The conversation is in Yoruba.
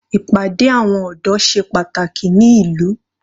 Ìpàdé àwọn ọ̀dọ́ ṣe pàtàkì ní ìlú.